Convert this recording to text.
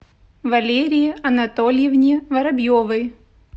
валерии анатольевне воробьевой